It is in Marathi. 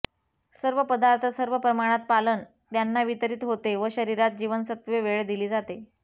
सर्व पदार्थ सर्व प्रमाणात पालन त्यांना वितरित होते व शरीरात जीवनसत्त्वे वेळ दिली जाते